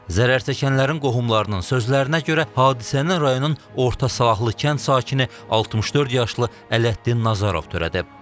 Zərərçəkənlərin qohumlarının sözlərinə görə, hadisəni rayonun Orta Salahlı kənd sakini 64 yaşlı Ələddin Nəzərov törədib.